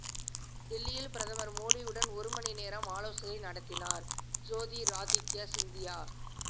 டெல்லியில் பிரதமர் மோடியுடன் ஒருமணி நேரம் ஆலோசனை நடத்தினார் ஜோதிராதித்யா சிந்தியா